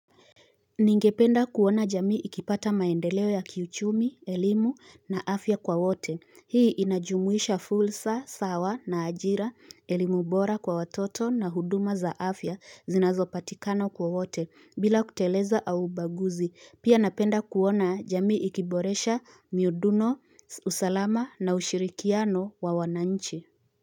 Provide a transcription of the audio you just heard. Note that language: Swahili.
Ningependa kuona jamii ikipata maendeleo ya kiuchumi, elimu na afya kwa wote. Hii inajumuisha fulsa, sawa na ajira, elimu bora kwa watoto na huduma za afya zinazopatikana kwa wote bila kuteleza au ubaguzi. Pia napenda kuona jamii ikiboresha miuduno, usalama na ushirikiano wa wananchi.